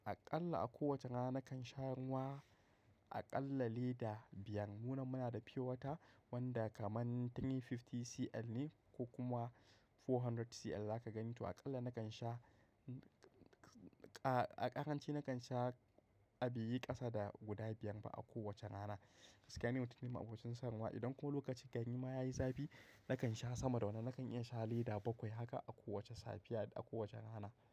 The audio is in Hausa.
Aƙalla a ko wace rana nakan sha ruwa aƙalla lita biyar. Muna, muna da pure water wanda kamar three fifty cl ne ko kuma four hundred cl ne zaka gani. To aƙalla nakan sha a ƙaranci nakan sha a biyi ƙasa da guda biyar ba a ko wace rana. Kaskani wani mutum a abokin sanarwa idan ko lokaci gani ma ya yi zafi, nakan sha sama da wannan. Nakan iya sha lita bakwai haka a ko wace safiya da a kowace rana.